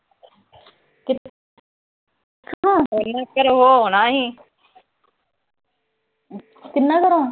ਕਿੱਥੋਂ? ਕਿੰਨਾ ਘਰੋਂ?